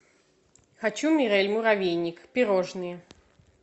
хочу мирэль муравейник пирожные